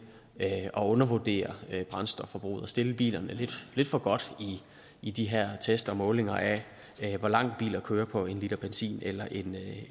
at undervurdere brændstofforbruget og stille bilerne lidt for godt i de her test og målinger af hvor langt biler kører på en liter benzin eller en